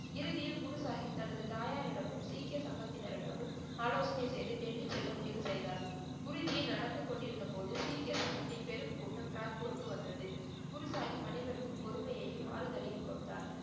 இறுதியில் குருசாகிப் தனது தாயாரிடமும், சீக்கிய சங்கத்தினரிடமும் ஆலோசனை செய்து டெல்லி செல்ல முடிவு செய்தார். குருஜி நடந்துகொண்டிருந்த போது சீக்கிய சங்கத்தின் பெரும் கூட்டம் கிராத்பூருக்கு வந்தது. குருசாகிப் அனைவருக்கும் பொறுமையையும், ஆறுதலையும் கொடுத்தார்.